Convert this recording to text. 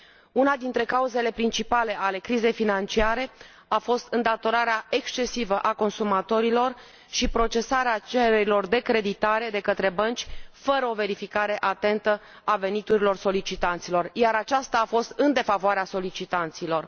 Una dintre cauzele principale ale crizei financiare a fost îndatorarea excesivă a consumatorilor și procesarea cererilor de creditare de către bănci fără o verificare atentă a veniturilor solicitanților, iar aceasta a fost în defavoarea solicitanților.